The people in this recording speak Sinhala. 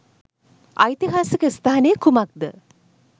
ඓතිහාසික ස්ථානය කුමක්ද?